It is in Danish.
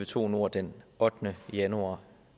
to nord den ottende januar